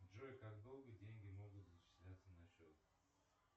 джой как долго деньги могут зачисляться на счет